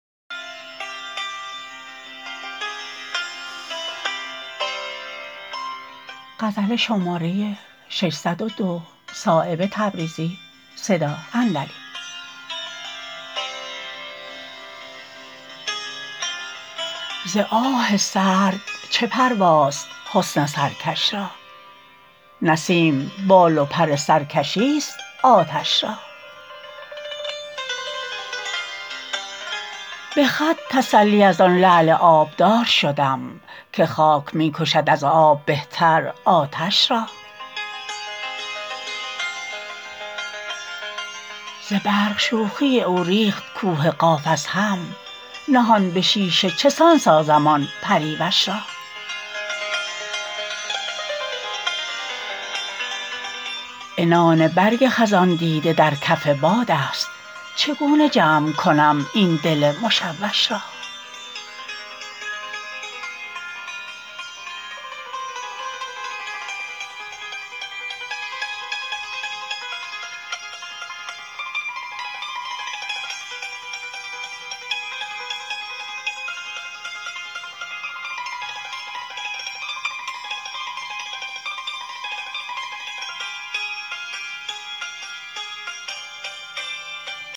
ز آه سرد چه پرواست حسن سرکش را نسیم بال و پر سرکشی است آتش را به خط تسلی ازان لعل آبدار شدم که خاک می کشد از آب بهتر آتش را ز برق شوخی او ریخت کوه قاف از هم نهان به شیشه چسان سازم آن پریوش را عنان برگ خزان دیده در کف بادست چگونه جمع کنم این دل مشوش را